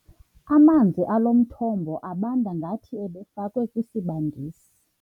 Amanzi alo mthombo abanda ngathi ebefakwe kwisibandisi.